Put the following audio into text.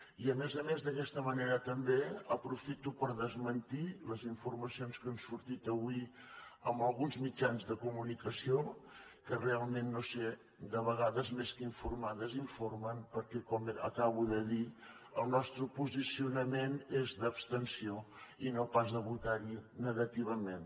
i a més a més d’aquesta manera també aprofito per desmentir les informacions que han sortit avui en alguns mitjans de comunicació que realment no ho sé de vegades més que informar desinformen perquè com acabo de dir el nostre posicionament és d’abstenció i no pas de votar hi negativament